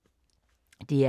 DR K